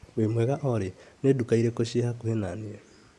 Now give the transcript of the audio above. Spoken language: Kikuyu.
Wĩmwega olĩ ,nĩ nduka irĩkũ ciĩ hakuhĩ na niĩ ?